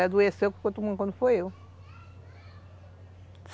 adoeceu e quem ficou tomando conta foi eu